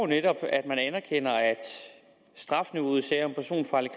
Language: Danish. netop at man anerkender at strafniveauet i sager om personfarlig